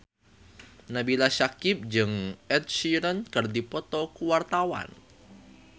Nabila Syakieb jeung Ed Sheeran keur dipoto ku wartawan